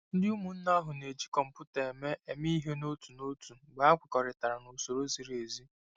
Ndị ụmụnne ahụ na-eji kọmputa eme eme ihe n'otu n'otu mgbe ha kwekọrịtara na usoro ziri ezi.